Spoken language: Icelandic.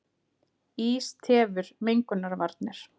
Ís tefur mengunarvarnir